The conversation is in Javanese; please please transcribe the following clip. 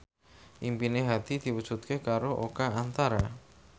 impine Hadi diwujudke karo Oka Antara